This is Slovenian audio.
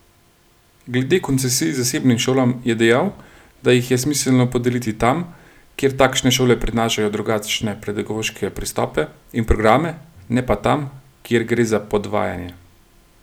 Glede koncesij zasebnim šolam je dejal, da jih je smiselno podeliti tam, kjer takšne šole prinašajo drugačne pedagoške pristope in programe, ne pa tam, kjer gre za podvajanje.